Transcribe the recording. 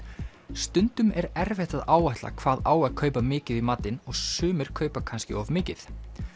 stundum er erfitt að áætla hvað á að kaupa mikið í matinn og sumir kaupir kannski of mikið